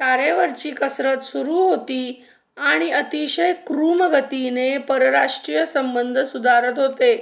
तारेवरची कसरत सुरू होती आणि अतिशय कूर्मगतीने परराष्ट्रसंबंध सुधारत होते